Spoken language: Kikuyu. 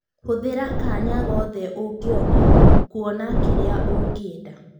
Hũthĩra kanya gothe ũngĩona kũona kĩrĩa ũngĩenda